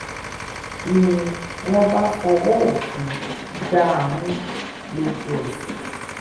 ni wọ́n bá fọwọ́ òfin gbá a mú lójú-ẹsẹ̀